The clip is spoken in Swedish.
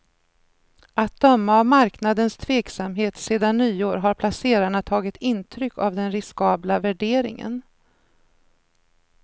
Att döma av marknadens tveksamhet sedan nyår har placerarna tagit intryck av den riskabla värderingen.